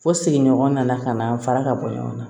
Fo sigiɲɔgɔn nana ka na fara ka bɔ ɲɔgɔn na